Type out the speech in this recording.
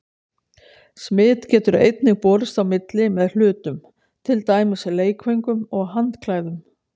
Smit getur einnig borist á milli með hlutum, til dæmis leikföngum og handklæðum.